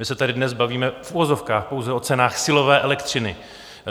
My se tady dnes bavíme - v uvozovkách pouze - o cenách silové elektřiny.